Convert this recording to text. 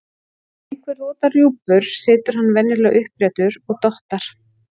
Þegar einhver rotar rjúpur situr hann venjulega uppréttur og dottar.